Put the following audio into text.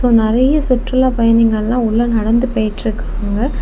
நெறைய சுற்றுலா பயணிகெல்லா உள்ள நடந்து போயிட்டு இருக்காங்க.